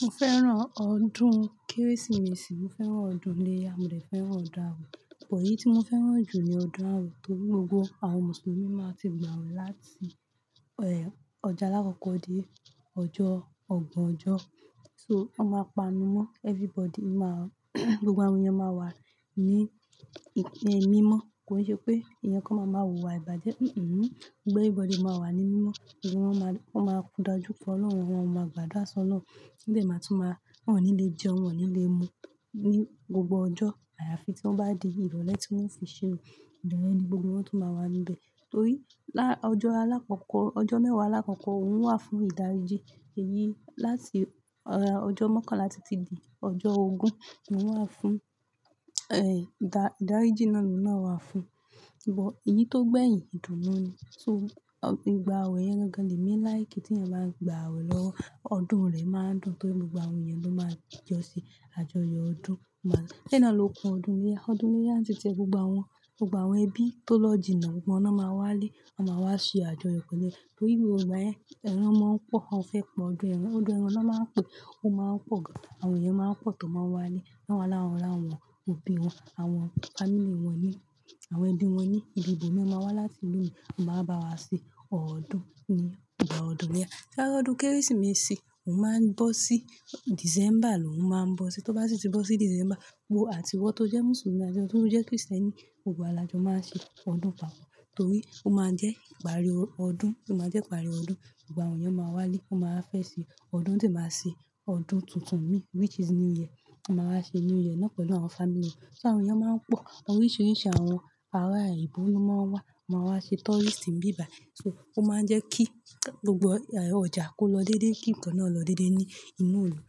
Mo fẹ́ràn ọdún Kérésìmesì, mo fẹ́ràn ọdún ilé ya, mo fẹ́ fẹ́ràn ọdún ààwe. Òpò yìí tí mo fẹ́ràn jù ni ọdún ààwe torí gbogbo àwọn Mùsùlùmí máa ti gbàwẹ̀ láti, eh, ọjà aláàkọ́kọ́ dé ọjọ́ ọgbọ̀n ọjọ́. So, wọ́n máa pa'nú mọ́, everybody máa, gbogbo àwọn èèyàn máa wà ní, ní mímọ́. Kò ṣe pé èèyàn kan máa ma wùwà ìbàjẹ́. Hmm-mm. Gbogbo everybody máa wà ní mímọ́, gbogbo wọ́n máa, wọ́n máa dajuko ọlọ́run, wọn ò máa gbàdúrà sí ọlọ́run. Wọ́n dẹ̀ má tún máa, wọ́n ò ní lè jẹun, wọ́n ò ní lè mu ní gbogbo ọjọ́. Àyàfi tí wọ́n bá di ìrọ̀lẹ́ tí wọ́n o fi ṣínu. Ìrọ̀lẹ́ ni gbogbo wọn tó máa wà níbẹ̀. Torí, lá-- ọjọ́ aláàkọ́kọ́, ọjọ́ mẹ́wàá aláàkọ́kọ́ òun wà fún ìdáríjì. Èyí láti, eh, ọjọ́ mọ́kànlá títí di ọjọ́ ogún ni wọ́n wà fún, eh, ìdá-ìdáríjì náà ló náà wà fún. Ṣùgbọ́n èyí tó gbẹ̀yin ìdùnnú ni. So, ọ-- ìgbà ààwẹ̀ yẹn gangan ni èmi like tí èèyàn bá ń gba ààwẹ̀ lọ́wọ́, ọdún rẹ̀ máa ń dùn torí gbogbo àwọn èèyàn ló máa jọ ṣe àjọyọ̀ ọdún. Ma-- be náà ló kun ọdún iléyá. Ọdún iléyá n ti ti e gbogbo àwọn, gbogbo àwọn ẹbí tó lò jináà, gbogbo wọn lo máa wá lé, wọ́n máa wá ṣe àjọyọ̀ pẹ̀lú rẹ. Torí gbogbo ìgbà yen ẹran máa ń pọ̀, o fẹ́ pọ̀ ọdún ẹran. Ọdún ẹran ni wọ́n máa ń pe, ó máa ń pọ̀ gan. Àwọn èèyàn máa ń pọ̀ tó máa wà le, wọ́n ó wá lawon ra àwọn òbí wọn, àwọn family wọn ní, àwọn ẹbí wọn ní, ibi-ibomi wọ́n máa wá láti ìlú i mi wọ́n máa wá bá wa ṣe ọdún iléyá, ìgbà ọdún iléyá. Ṣé ọdún Kérésìmesì òun máa ń bọ́ sí December lóun máa ń bọ́ sí. Tó bá sì ti bọ́ sí December, gbogbo àtiwọ́ tó jẹ́ Mùsùlùmí àti àwọn tó jẹ́ Krìstẹ́nì, gbogbo àwọn làjọ máa ṣe ọdún papọ̀ torí ó máa ń jẹ́ ìparí ọdún, ó máa ń jẹ́ ìparí ọdún. Gbogbo àwọn èèyàn máa wá lé, wọ́n máa fẹ́ ṣe ọdún tó máa ṣe ọdún tuntun mí, which is New Year. Wọ́n máa wá ṣe New Year náà pẹ̀lú àwọn family wọn. So àwọn èèyàn máa ń pọ̀. Òun oríṣìíríṣìí àwọn ará oyinbo ló máa ń wá, wọ́n máa wá ṣe tourist ni bíbài. So, ó máa ń jẹ́ kí gbogbo, eh, ọjà kó lọ déédéé, kí nǹkan náà lọ déédéé ní inú ìlú.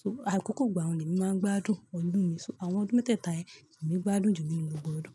So, àkókò ìgbà wọ̀n ni èmi máa ń gbádùn ọdún mi, so àwọn ọdún mẹ́tẹ̀ta yẹn lèmi gbádùn jù nínú gbogbo ọdún.